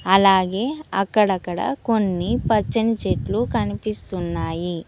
అలాగే అక్కడక్కడ కొన్ని పచ్చని చెట్లు కనిపిస్తున్నాయి.